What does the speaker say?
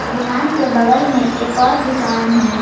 दुकान के बगल में एक और दुकान है।